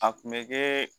A kun bɛ kɛ